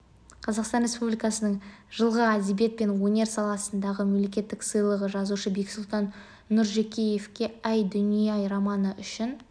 қазақстан республикасының жылғы әдебиет пен өнер саласындағы мемлекеттік сыйлығы жазушы бексұлтан нұржекеевке әй дүние-ай романы үшін